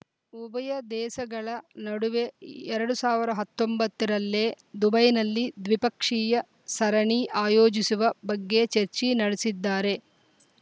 ಉಭಯ ದೇಸ ಗಳ ನಡುವೆ ಎರಡು ಸಾವಿರ ಹತ್ತೊಂಬತ್ತ ರಲ್ಲಿ ದುಬೈನಲ್ಲಿ ದ್ವಿಪಕ್ಷೀಯ ಸರಣಿ ಆಯೋಜಿಸುವ ಬಗ್ಗೆ ಚರ್ಚಿ ನಡೆಸಿದ್ದಾರೆ